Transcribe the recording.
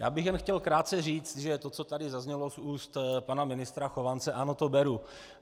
Já bych jen chtěl krátce říct, že to, co tady zaznělo z úst pana ministra Chovance, ano, to beru.